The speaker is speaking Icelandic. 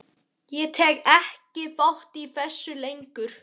Ég tek ekki þátt í þessu lengur.